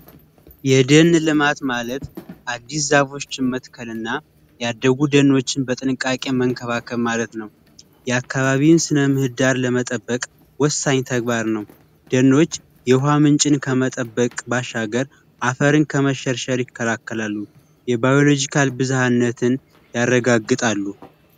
የደን ልማት ማለት አዲስ ዛፎችን መትከል ና ያደጉ ዛፎችን በጥንቃቄ መንከባከብ ማለት ነው። የአካባቢን ስነምህዳር ለመጠበቅ ወሳኝ ተግባር ነው። ደኖች የውሃ ምንጭን ከመጠበቅ ባሻገር አፈርን ከመሸርሸር ይከላከላሉ የባዮሎጂካል ብዝሐነትን ያረጋግጣሉ